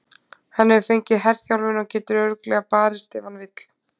Hann hefur fengið herþjálfun og getur örugglega barist ef hann vill.